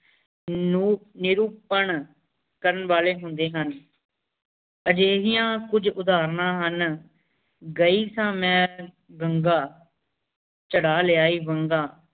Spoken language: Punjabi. ਨੀਰੁਪਾਂ ਕਰਨ ਵਾਲੀ ਹੁੰਦੀ ਹੁਣ ਇਹੀ ਕੁਛ ਉਦਾਹਰ ਨਾ ਹੁਣ ਜੈ ਸ ਐਨ ਘ੍ਨ੍ਘਾ ਚਰ ਲਿਆਈ ਵੇੰਘਾਂ